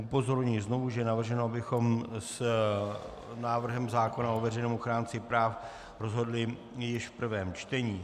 Upozorňuji znovu, že je navrženo, abychom s návrhem zákona o veřejném ochránci práv rozhodli již v prvém čtení.